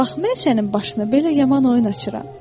Bax, mən sənin başına belə yaman oyun açıram.